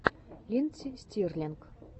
линдси стирлинг